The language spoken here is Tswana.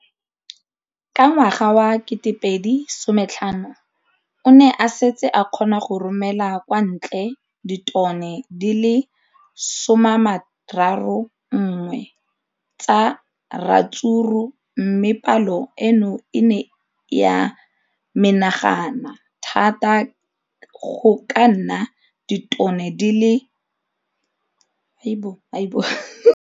Ka ngwaga wa 2015, o ne a setse a kgona go romela kwa ntle ditone di le 31 tsa ratsuru mme palo eno e ne ya menagana thata go ka nna ditone di le 168 ka ngwaga wa 2016.